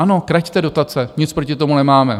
Ano, kraťte dotace, nic proti tomu nemáme.